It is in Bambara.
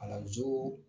Kalanso